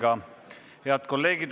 Head kolleegid!